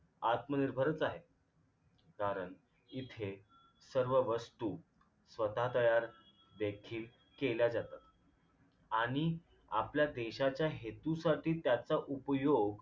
आत्मनिर्भरच आहे कारण इथे सर्व वस्तू स्वतः तयार देखील केल्या जातात आणि आपल्या देशाच्या हेतूसाठी त्याचा उपयोग